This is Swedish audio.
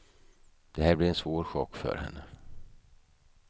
Det här blir en svår chock för henne.